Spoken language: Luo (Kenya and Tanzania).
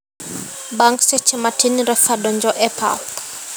Bang seche matin refa donjo e pap.